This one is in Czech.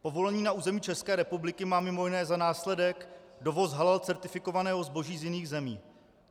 Povolení na území České republiky má mimo jiné za následek dovoz halal certifikovaného zboží z jiných zemí.